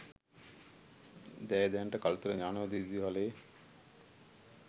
ඇය දැනට කළුතර ඥානෝදය විදුහලේ